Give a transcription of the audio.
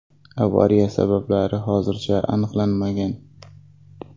Avariya sabablari hozircha aniqlanmagan.